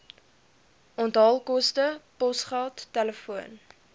onthaalkoste posgeld telefoon